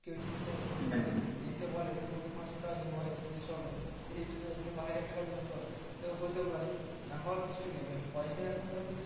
কেউ যদি তো মানে এসে বলে যে, তোমাকে পাঁচশো টাকা দেব হয়তো তুমি চলো কিংবা হাজার টাকা দেব চলো। হতেও পারে না হওয়ার কিছু নেই ভাই, পয়সাই এখনকার দিনে